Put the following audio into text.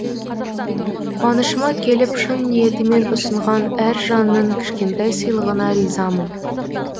қуанышыма келіп шын ниетімен ұсынған әр жанның кішкентай сыйлығына ризамын